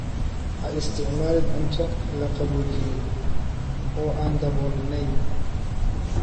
Ha isticmaalin cunto la qaboojiyey oo aan daboolnayn.